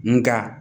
Nka